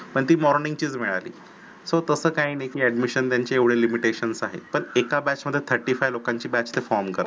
पण ती morning चीच मिळाली सो तस काही नाही की admission त्यांचे एवढे limitations आहेत. एका batch मध्ये thirty five लोकांची batch form करतात.